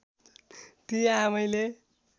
ती आमैले